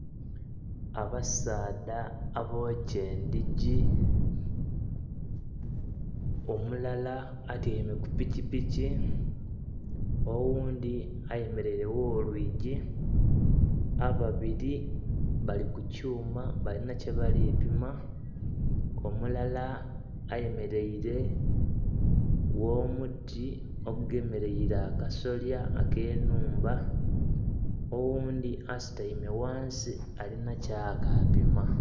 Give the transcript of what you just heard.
Abasaadha abokya endhigi, omulala atyaime ku pikipiki, oghundhi ayemeleire gh'olwigi, ababiri bali ku kyuma balina kyebali pima, omulala ayemeleire gh'omuti ogugemeleire akasolya ak'ennhumba, oghundhi asutaime ghansi alina kyakapima.